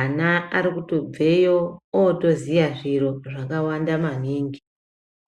ana arikubveo otoziya zviro zvakawanda maningi.